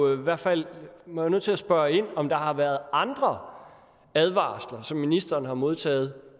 i hvert fald nødt til at spørge ind til om der har været andre advarsler som ministeren har modtaget